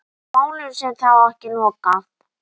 Málinu sé þó ekki lokið.